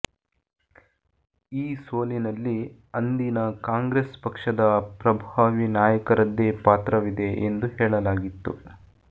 ಈ ಸೋಲಿನಲ್ಲಿ ಅಂದೀನ ಕಾಂಗ್ರೆಸ್ ಪಕ್ಷದ ಪಪ್ರಭಾವಿ ನಾಯಕರದ್ದೇ ಪಾತ್ರವಿದೆ ಎಂದು ಹೇಳಲಾಗಿತ್ತು